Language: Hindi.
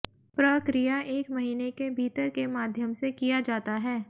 प्रक्रिया एक महीने के भीतर के माध्यम से किया जाता है